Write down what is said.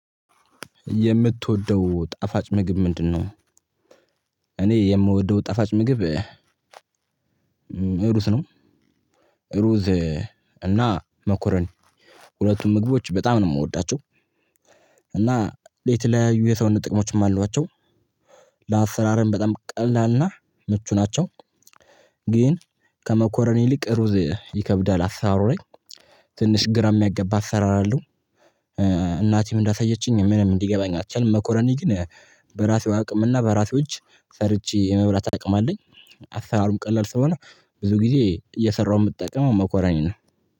የምትወደው ጣፋጭ ምግብ ምንድነው? እኔ የምወደው ጣፋጭ ምግብ ሩዝ ነው። ሩዝ እና መኮረን ሁለቱም ምግቦች በጣም ነው የምወዳቸው። እና የተለያዩ የሰውነት ጥቅሞችም አሏቸው። ለአሰራርም በጣም ቀላልና ምቹ ናቸው። ግን ከመኮረኒ ይልቅ ሩዝ ይከብዳል አሰራሩ ላይ ትንሽ ግራ የሚያገባ አሰራር አለው። እናቴም እንዳሳየችኝ ምንም ሊገባኝ አልቻለም። መኮረኒ ግን በራሴው አቅም እና በራሴው እጅ ሰርቼ የመብራት አቅም አለኝ። አሰራሩም ቀላል ስለሆነ ብዙ ጊዜ እየሰራሁ የምትጠቀመው መኮረኒ ነው